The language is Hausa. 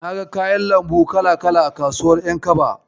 Naga kayan lambu kala-kala a kasuwar ƴankaba.